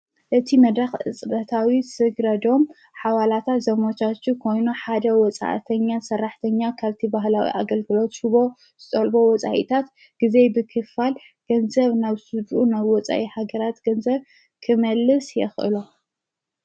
እቲ መዳኽ እጽበታዊ ሥግረዶም ሓዋላታት ዘሞሻቱ ኮይኑ ሓደ ወፃእተኛ ሠራሕተኛ ከብቲ በህላዊ ኣገልግሎት ሹቦ ዝጠልቦ ወፃኢታት ጊዜ ብክፋል ገንዘብ ናብ ሱዱ ነብ ወፃኢ ሃገራት ገንዘብ ክመልስ የኽእሎ።